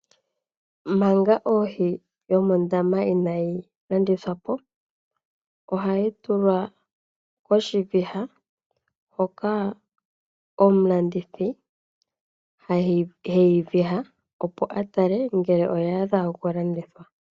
Manga ohi yomondama inayi landithwa po, ohayi tulwa koshiviha hoka omulandithi hayi viha, opo a tale ngele oya adha okulandithwa.